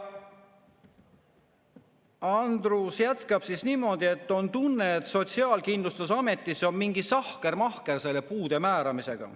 Andrus jätkab niimoodi: "On tunne, et Sotsiaalkindlustusametis on mingi sahkermahker selle puude määramisega.